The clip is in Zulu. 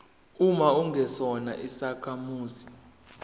uma ungesona isakhamuzi